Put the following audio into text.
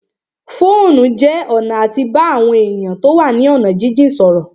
Fóònù jẹ́ ọ̀nà àti bá àwọn èèyàn tó wà ní ọ̀nà jínjìn sọ̀rọ̀